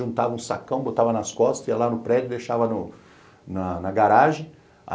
Juntava um sacão, botava nas costas, ia lá no prédio, deixava na garagem.